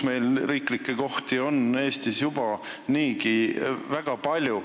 Meil on riiklikke ametikohti Eestis juba niigi väga palju.